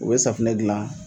U bɛ safinɛ dilan